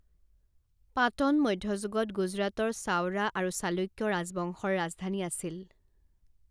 পাটন মধ্যযুগত গুজৰাটৰ চাৱড়া আৰু চালুক্য ৰাজবংশৰ ৰাজধানী আছিল।